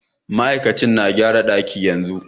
Mai aikin na gyara dakin yanzu.